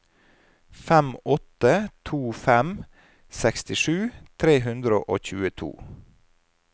fem åtte to fem sekstisju tre hundre og tjueto